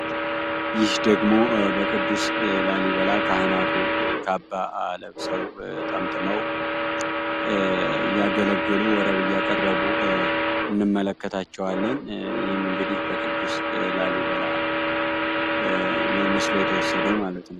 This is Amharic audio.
ይህ ደግሞ በቅዱስ ላሊበላ ካህናቱ ካባ ለብሰው ጠምጥመው እያገለገሉ ወረብ እያቀረቡ እንመለከታቸዋለን ይህም እንግዲህ ከቅዱስ ላሊበላ ነው ምስሉ የተወሰደው ማለት ነው።